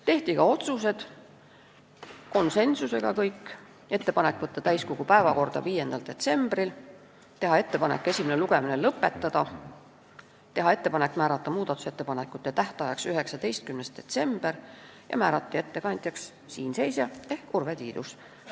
Tehti ka konsensuslikud otsused: ettepanek võtta eelnõu täiskogu päevakorda 5. detsembriks, teha ettepanek esimene lugemine lõpetada, määrata muudatusettepanekute tähtajaks 19. detsember ja määrata ettekandjaks siin seisja ehk Urve Tiidus.